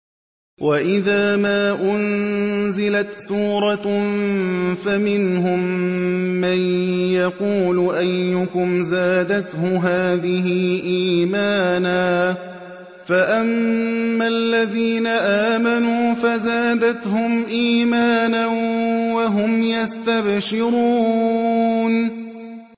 وَإِذَا مَا أُنزِلَتْ سُورَةٌ فَمِنْهُم مَّن يَقُولُ أَيُّكُمْ زَادَتْهُ هَٰذِهِ إِيمَانًا ۚ فَأَمَّا الَّذِينَ آمَنُوا فَزَادَتْهُمْ إِيمَانًا وَهُمْ يَسْتَبْشِرُونَ